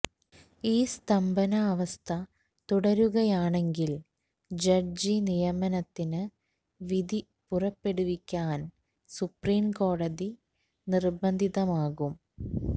ഈ സ്തംഭനാവസ്ഥ തുടരുകയാണെങ്കില് ജഡ്ജി നിയമനത്തിന് വിധി പുറപ്പെടുവിക്കാന് സുപ്രീംകോടതി നിര്ബന്ധിതമാകും